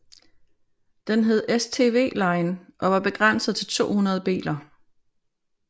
Den hed STWline og var begrænset til 200 biler